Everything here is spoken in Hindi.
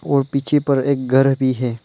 और पीछे पर एक घर भी है।